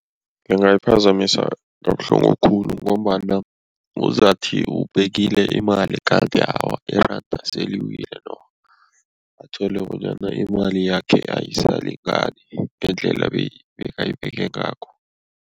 Ngingayiphazamisa kabuhlungu khulu ngombana uzathi ubekile imali kanti awa, iranda seliwile athole bonyana imali yakhe ayisalingani ngendlela bekayibeke ngakho.